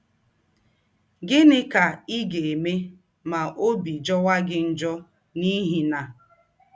Gịnị ka ị ga - eme ma ọbi jọwa gị njọ n’ihi na